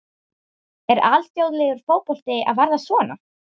Er alþjóðlegur fótbolti að verða svona?